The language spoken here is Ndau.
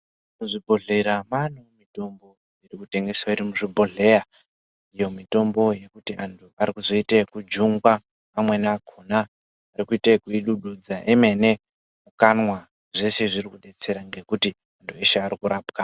Muzvibhedhleya maane mitombo inotengeswa iri muzvibhodheya iyo mitombo yekuti antu arikuzoite ekujungwa amweni akhona arikuita ekuidududza emene mukanwa, zveshe zviri kudetsera ngekuti antu eshe ari kurapwa.